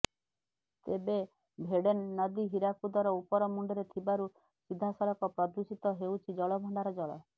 ତେବେ ଭେଡେନ୍ ନଦୀ ହୀରାକୁଦର ଉପର ମୁଣ୍ଡରେ ଥିବାରୁ ସିଧାସଳଖ ପ୍ରଦୂଷିତ ହେଉଛି ଜଳଭଣ୍ଡାରର ଜଳ